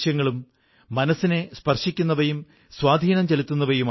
അവർ ഭാരതാംബയെ സേവിക്കയും സുരക്ഷിതത്വം ഉറപ്പാക്കുകയുമാണ്